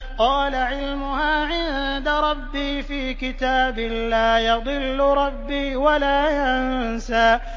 قَالَ عِلْمُهَا عِندَ رَبِّي فِي كِتَابٍ ۖ لَّا يَضِلُّ رَبِّي وَلَا يَنسَى